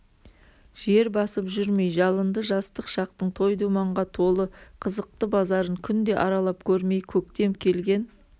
жер басып жүрмей жалынды жастық шақтың той-думанға толы қызықты базарын күнде аралап көрмей көктем келген